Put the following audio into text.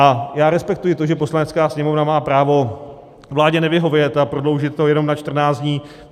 A já respektuji to, že Poslanecká sněmovna má právo vládě nevyhovět a prodloužit to jenom na 14 dní.